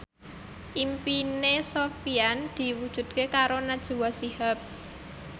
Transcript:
impine Sofyan diwujudke karo Najwa Shihab